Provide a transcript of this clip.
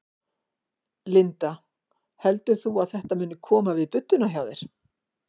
Linda: Heldur þú að þetta muni koma við budduna hjá þér?